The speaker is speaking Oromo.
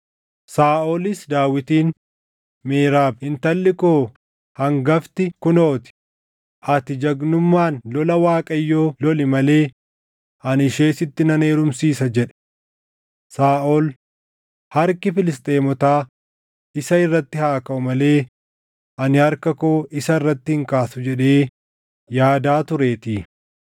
Saaʼolis Daawitiin, “Meerab intalli koo hangafti kunoo ti; ati jagnummaan lola Waaqayyoo loli malee ani ishee sitti nan heerumsiisa” jedhe. Saaʼol, “Harki Filisxeemotaa isa irratti haa kaʼu malee ani harka koo isa irratti hin kaasu” jedhee yaadaa tureetii.